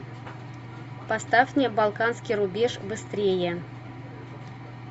поставь мне балканский рубеж быстрее